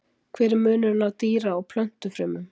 hver er munurinn á dýra og plöntufrumum